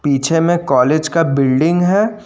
पीछे में कॉलेज का बिल्डिंग है।